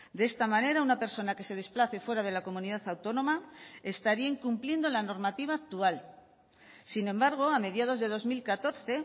de esta manera una persona que se desplace fuera de la comunidad autónoma estaría incumpliendo la normativa actual sin embargo a mediados de dos mil catorce